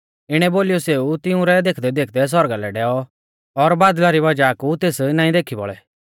इणै बोलीयौ सेऊ तिऊं रै देखदैदेखदै सौरगा लै डैऔ और बादल़ा री वज़ाह कु सै तेस नाईं देखी बौल़ै